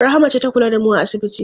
Rahama ce ta kula da mu a asibiti.